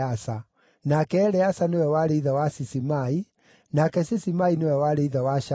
nake Eleasa nĩwe warĩ ithe wa Sisimai, nake Sisimai nĩwe warĩ ithe wa Shalumu,